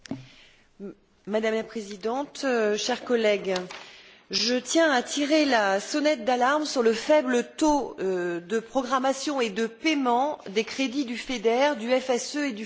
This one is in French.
Madame la Présidente, chers collègues, je tiens à tirer la sonnette d'alarme sur le faible taux de programmation et de paiement des crédits du FEDER, du FSE et du Fonds de cohésion.